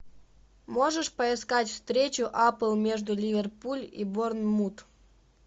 можешь поискать встречу апл между ливерпуль и борнмут